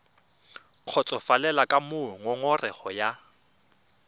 kgotsofalele ka moo ngongorego ya